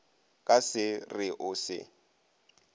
ka se re o se